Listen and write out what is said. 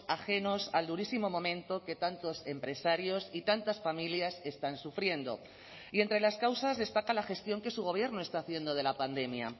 ajenos al durísimo momento que tantos empresarios y tantas familias están sufriendo y entre las causas destaca la gestión que su gobierno está haciendo de la pandemia